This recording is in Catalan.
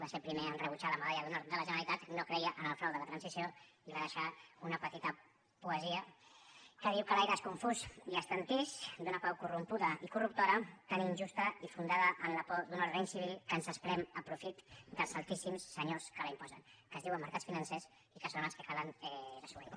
va ser el primer a rebutjar la medalla d’honor de la generalitat no creia en el frau de la transició i va deixar una petita poesia que diu que l’aire és confús i estantís d’una pau corrompuda i corruptora tan injusta i fundada en la por d’un ordre incivil que ens esprem a profit dels altíssims senyors que l’imposen que es diuen mercats financers i que són els que cal desobeir